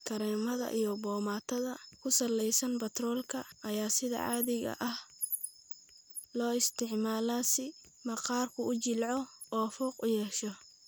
Kareemada iyo boomaatada ku salaysan batroolka ayaa sida caadiga ah loo isticmaalaa si maqaarku u jilco oo fuuq u yeesho.